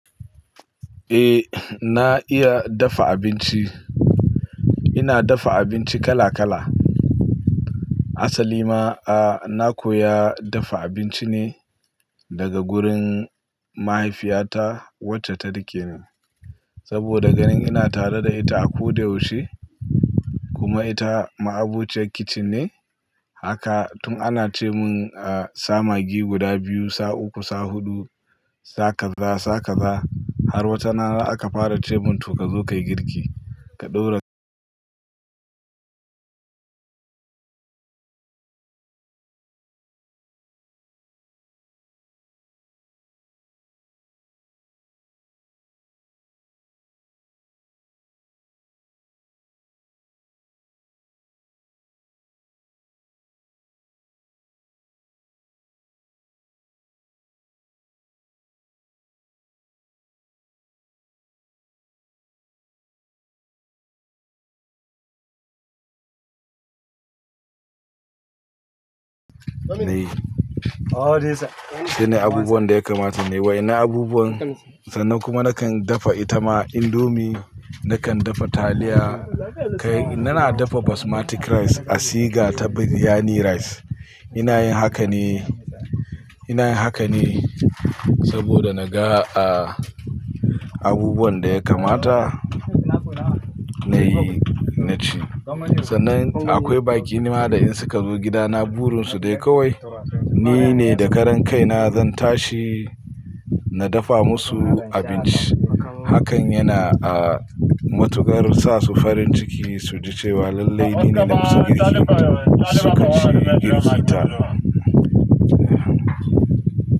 Eh na iya dafa abinci. Ina dafa abinci kala kala. Asali ma, a, na koya dafa abinci ne daga gurin mahaifiyata wacce ta rike ni. Saboda ganin ina tare da ita a koda yaushe kuma ita ma'abociyar kitchen ne. Haka tun ana ce mun, ah, sa maggi guda biyu, sa uku, sa hudu, sa kaza, sa kaza har wata rana aka fara ce mun to ka zo ka yi girki, ka ɗaura. Nayi. Shine abubuwan da ya kamata ne wai na abubuwan sannan kuma nakan dafa ita ma indomie, nakan dafa taliya. Kai, inna na dafa Basmati rice a siga ta Biryani rice. Ina yin haka ne, ina yin haka ne saboda na ga, ah, abubuwan da ya kamata na yi, na ci. Sannan akwai baƙi nima da in suka zo gidana burin su dai kawai ni ne da karan kai na zan tashi na dafa musu abinci. Hakan yana, ah, matuƙar sa su farin ciki, su ji cewa lallai ni ne na musu girki su ka ci, in ji ta.